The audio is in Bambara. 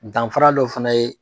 Danfara dɔ fana ye